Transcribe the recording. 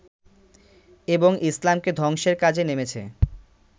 এবং ইসলামকে ধ্বংসের কাজে নেমেছে